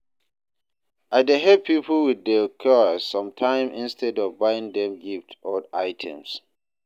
I dey help people with their chores sometimes instead of buying them gifts or items.